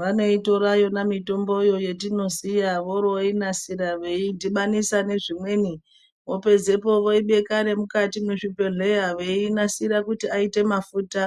Vanoitora yona mitomboyo yetinosiya voroinasira veidhibanisa nezvimweni vopedzepo voibeka nemukati mwezvibhedhleya veinasira kuti aite mafuta